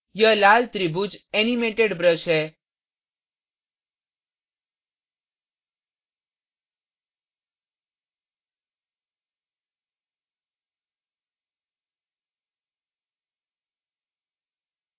यह लाल त्रिभुज animated brush है